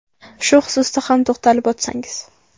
Shu xususda ham to‘xtalib o‘tsangiz.